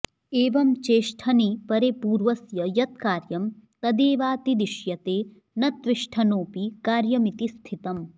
एवं चेष्ठनि परे पूर्वस्य यत्कार्यं तदेवातिदिश्यते न त्विष्ठनोऽपि कार्यमिति स्थितम्